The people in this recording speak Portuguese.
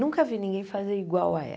Nunca vi ninguém fazer igual a ela.